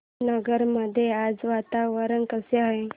नगर मध्ये आज वातावरण कसे आहे